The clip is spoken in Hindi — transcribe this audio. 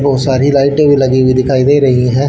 बहुत सारी लाइटे भी लगी हुई दिखाई दे रही हैं।